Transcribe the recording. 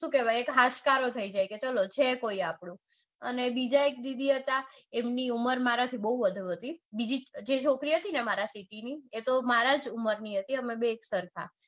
શું કેવાય હાશકારો થઇ જાય કે ચાલો છે કોઈ આપણું. અને બીજા એક દીદી હતા એમની ઉમર બૌ વધુ હતી. બીજી જે છોકરી હતી જે મારા એમની તો મારા જ ઉંમરની હતી અમે બે સરખા.